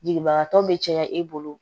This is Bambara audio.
Jigibagatɔ bɛ caya i bolo